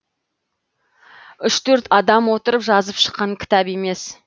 үш төрт адам отырып жазып шыққан кітап емес